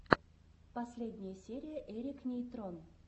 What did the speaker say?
последняя серия эрик нейтрон